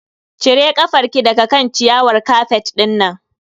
Cire kafar ki daga kan ciyawar kafet dinnan.